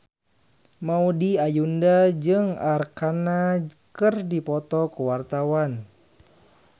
Maudy Ayunda jeung Arkarna keur dipoto ku wartawan